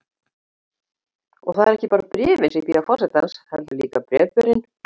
Og það eru ekki bara bréfin sem bíða forsetans, heldur líka sjálfur bréfberinn.